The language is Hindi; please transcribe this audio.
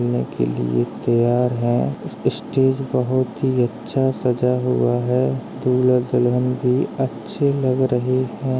के लिये तैयार है ।उस स्टेज बहुत ही अच्छा सजाया हुआ है ।दुल्हा दुल्हन भी अच्छे लग रहे है ।